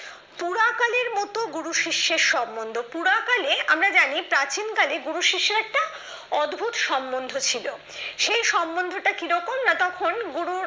শুধু গুরু শিষ্যের সম্বন্ধ পুরা কালে আমরা জানি প্রাচীনকালে গুরু শিষ্যের একটা অদ্ভুত সম্বন্ধ ছিল সেই সম্বন্ধটা কিরকম তখন গুরু